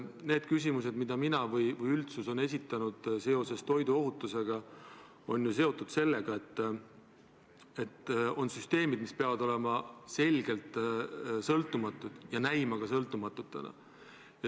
Need küsimused, mida olen mina või on üldsus esitanud toiduohutuse kohta, on ju seotud sellega, et teatud süsteemid peavad olema selgelt sõltumatud ja ka näima sõltumatutena.